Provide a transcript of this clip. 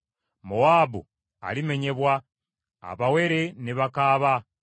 Mowaabu alimenyebwa; abawere ne bakaaba.